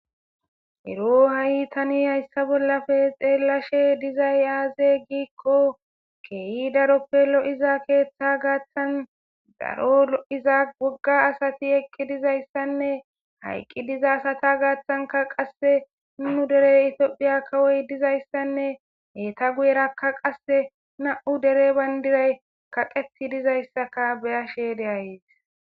ero ha7i tani hayssa bollafe xeellashe dizay aaze giikko keeyi daroppe lo7iza keeththa gaaththan daro iza bogga asati ekki dizayssanne hayqqi diza asata gaaththanka qasse nu derey itiophiya kawoy dizayssanne heeta guyerakka qasse na7u dere bayndiray kaqeti dizayssaka beyashe deayes